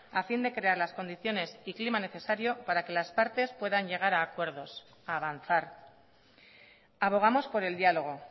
a fin de crear las condiciones y clima necesario para que las partes puedan llegar a acuerdos a avanzar abogamos por el diálogo